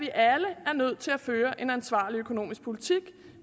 er nødt til at føre en ansvarlig økonomisk politik